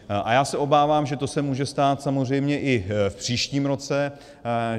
A já se obávám, že to se může stát samozřejmě i v příštím roce.